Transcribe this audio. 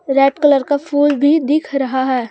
Red colour का फूल भी दिख रहा है।